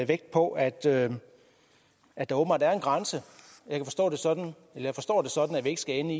vægt på at der at der åbenbart er en grænse jeg forstår det sådan at det ikke skal ende